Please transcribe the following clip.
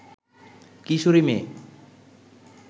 কিশোরী মেয়ে